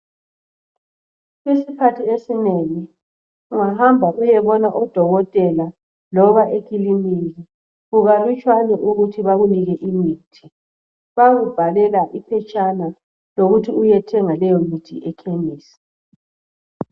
Isikhathi esinengi, ungahamba uyebona odokotela, loba ekiliniki, kukalutshwane ukuthi bakunike imithi, bayakubhalela phetshana lokuthi uyethenga leyo mithi ekhemesi.